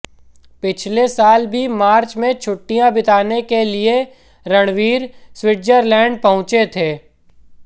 पिछले साल भी मार्च में छुट्टियां बिताने के लिए रणवीर स्विट्जरलैंड पहुंचे थें